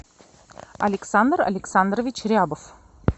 александр александрович рябов